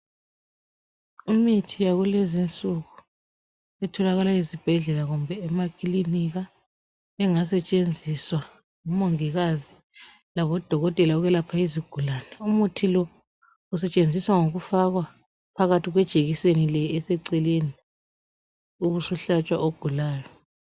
Imithi yakulezinsuku etholakala ezibhedlela kumbe emakilinika engasetshenziswa ngomongikazi labodokotela ukwelapha izigulane. Umuthi lo usetshenziswa ngokufakwa phakathi kwejekiseni le eseceleni ubusuhlatshwa ogulayo.